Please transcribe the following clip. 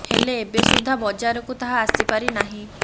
ହେଲେ ଏବେ ସୁଦ୍ଧା ବାଜରକୁ ତାହା ଆସି ପାରି ନାହିଁ